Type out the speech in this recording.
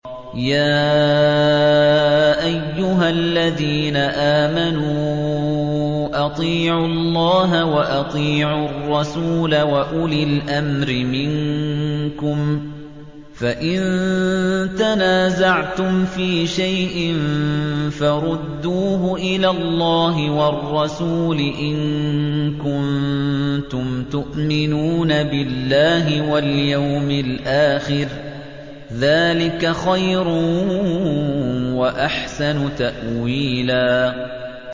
يَا أَيُّهَا الَّذِينَ آمَنُوا أَطِيعُوا اللَّهَ وَأَطِيعُوا الرَّسُولَ وَأُولِي الْأَمْرِ مِنكُمْ ۖ فَإِن تَنَازَعْتُمْ فِي شَيْءٍ فَرُدُّوهُ إِلَى اللَّهِ وَالرَّسُولِ إِن كُنتُمْ تُؤْمِنُونَ بِاللَّهِ وَالْيَوْمِ الْآخِرِ ۚ ذَٰلِكَ خَيْرٌ وَأَحْسَنُ تَأْوِيلًا